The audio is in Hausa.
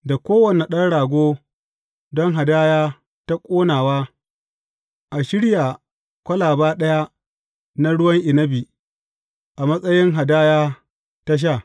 Da kowane ɗan rago don hadaya ta ƙonawa, a shirya kwalaba ɗaya na ruwan inabi, a matsayin hadaya ta sha.